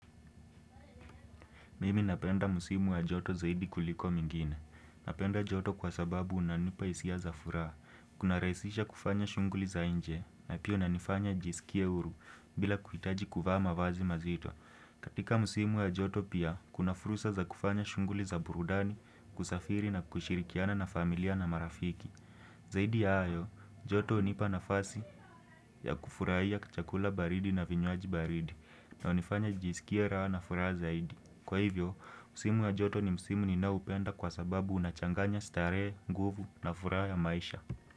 Mimi napenda msimu wa joto zaidi kuliko mengine. Napenda joto kwa sababu inanipa hisia za furaha. Kuna rahisisha kufanya shughuli za nje na pia inanifanya nijisikie huru bila kuhitaji kuvaa mavazi mazito. Katika msimu wa joto pia, kuna fursa za kufanya shunghuli za burudani kusafiri na kushirikiana na familia na marafiki. Zaidi ya hayo, joto hunipa nafasi ya kufurahia kachakula baridi na vinywaji baridi na hunifanya kujisikia raha na furaha zaidi. Kwa hivyo, msimu wa joto ni msimu ninaoupenda kwa sababu unachanganya starehe nguvu na furaha ya maisha.